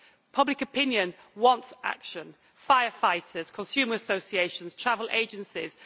Public opinion wants action firefighters, consumer associations and travel agencies.